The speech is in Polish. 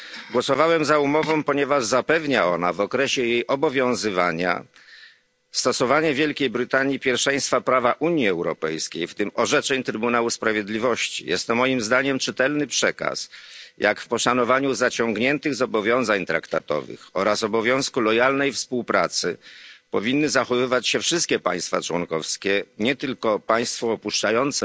Głosowałem za umową, ponieważ zapewnia ona w okresie jej obowiązywania stosowanie w Wielkiej Brytanii pierwszeństwa prawa Unii Europejskiej, w tym orzeczeń Trybunału Sprawiedliwości. Jest to moim zdaniem czytelny przekaz, jak w poszanowaniu zaciągniętych zobowiązań traktatowych oraz obowiązku lojalnej współpracy powinny zachowywać się wszystkie państwa członkowskie, nie tylko państwo opuszczające,